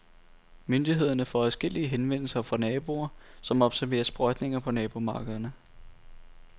Myndighederne får adskillige henvendelser fra naboer, som observerer sprøjtninger på nabomarkerne.